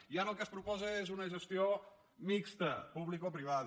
i ara el que es proposa és una gestió mixta publicoprivada